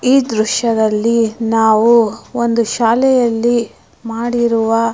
ಈ ದೃಶ್ಯದಲ್ಲಿ ನಾವು ಒಂದು ಶಾಲೆಯಲ್ಲಿ ಮಾಡಿರುವ--